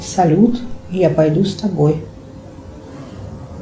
салют я пойду с тобой